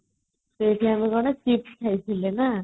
ସେଇଠି ଆମେ କ'ଣ chips ଖାଇଥିଲେ ନା |